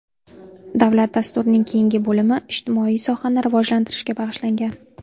Davlat dasturining keyingi bo‘limi ijtimoiy sohani rivojlantirishga bag‘ishlangan.